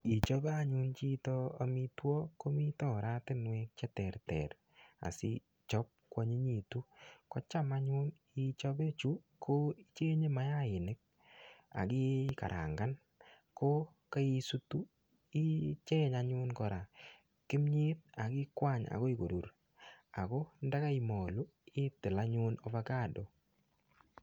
Ngichope anyun chito amitwogik, komite anyun oratinwek che terter asichap kwanyinyitu. Kocham anyun ichape chu, ko icheng'e mayainik, aki karangan. Ko kaisutu, icheny anyun kora kimyet, akikwany akoi korur. Ako ndakaimolu, itil anyun avocado.